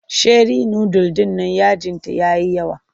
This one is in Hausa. Sheri nudul ɗin nan yajinta ya yi yawa.